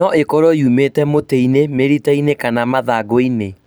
No ĩkorwo yumĩte mũtĩinĩ, mĩrita-inĩ kana mathangũ -inĩ